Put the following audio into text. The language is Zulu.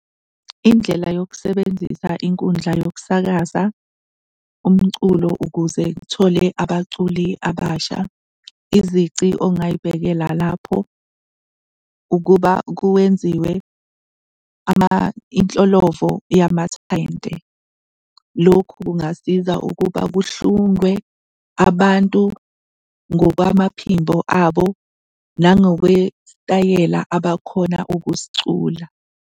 Indlela yokusebenzisa inkundla yokusakaza umculo ukuze kuthole abaculi abasha, izici ongay'bekela lapho ukuba kuwenziwe inhlolovo yamathalente. Lokhu kungasiza ukuba kuhlungwe abantu ngokwamaphimbo abo, nangokwesitayela abakhona ukusicula.